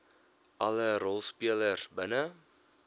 alle rolspelers binne